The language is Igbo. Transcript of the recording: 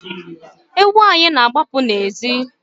Ewu anyị na-agbapụ n'ezi